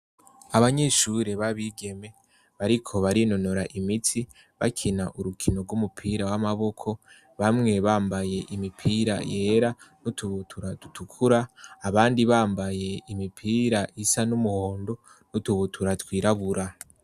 Abanyeshure b'abigeme bariko barinonora imitsi bakina urukino rw'umupira w'amaboko bamwe bambaye imipira yera n'utubutura dutukura abandi bambaye imipira isa n'umuhondo n'utubutura twirabura.